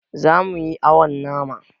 Zamu yi awon nama